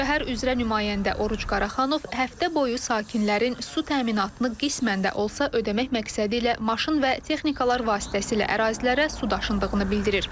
Şəhər üzrə nümayəndə Oruc Qaraxanov həftə boyu sakinlərin su təminatını qismən də olsa ödəmək məqsədi ilə maşın və texnikalar vasitəsilə ərazilərə su daşındığını bildirir.